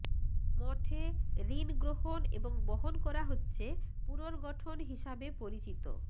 মঠে ঋণ গ্রহণ এবং বহন করা হচ্ছে পুনর্গঠন হিসাবে পরিচিত